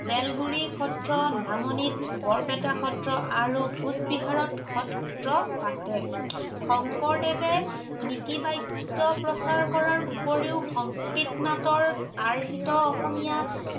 বেলগুৰি সত্ৰ, নামনিত বৰপেটা সত্ৰ আৰু কোঁচবিহাৰতো সত্ৰ পাতে। শংকৰদেৱে নীতি বাক্য় প্ৰচাৰ কৰাৰ উপৰিও সংস্কৃত নাটৰ আৰ্হিত অসমীয়া